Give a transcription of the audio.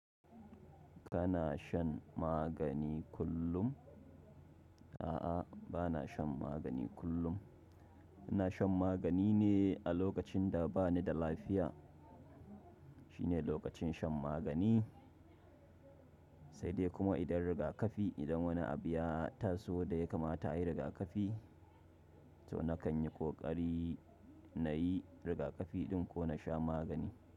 Kana shan magani kullum? A'a, bana shan magani kullum. Ina shan magani ne a lokacin da ba ni da lafiya. Shine lokacin shan magani, sai dai kuma idan riga kafi, idan wani abu ya taso da ya kamata a yi riga kafi, to na kan yi ƙoƙari na yi rigakafi ɗin ko na sha magani.